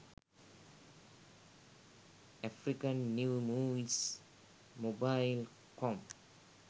african new movies mobile com